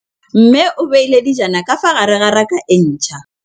Mmê o beile dijana ka fa gare ga raka e ntšha.